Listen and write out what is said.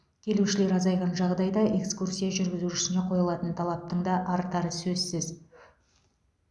келушілер азайған жағдайда экскурсия жүргізушісіне қойылатын талаптың да артары сөзсіз